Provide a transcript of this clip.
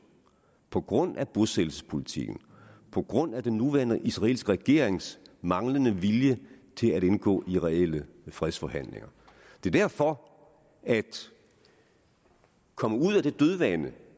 på grund af bosættelsespolitiken på grund af den nuværende israelske regerings manglende vilje til at indgå i reelle fredsforhandlinger derfor at komme ud af det dødvande